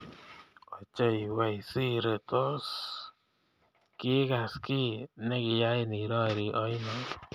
Ochei we Siri tos kigaas kiiy negiyain irori oino